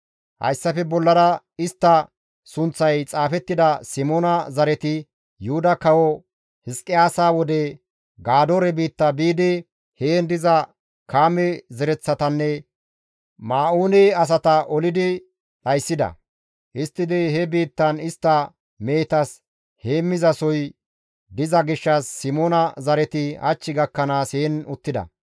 Hayssafe bollara istta sunththay xaafettida Simoona zareti Yuhuda Kawo Hizqiyaasa wode Gadoore biitta biidi heen diza Kaame zereththatanne Ma7uune asata olidi dhayssidayta; histtidi he biittan istta mehetas heemmizasohoy diza gishshas Simoona zareti hach gakkanaas heen uttida.